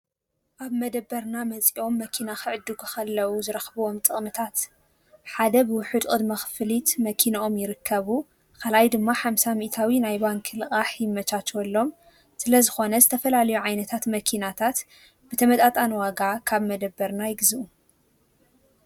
ኣብ መደበርና መፂኦም መኪና ኽዕዱጉ ኸለዉ ዝረኽብዎም ጥቕምታት ሓደ ብውሑዱ ድማ ኽፍሊት መፂኦም ክረከቡ ኻልኣይ ድማ ሓምሳ ሚኢታዊ ናይ ባንኪ ልቓሕ ይመቻቸወሎም ፣ስለ ዝኾነ ዝተፈላልዮ ዓይነታት መኪናታት ብተመጣጣኒ ዋጋ ካብ መደበርና ይግዙኡ፡፡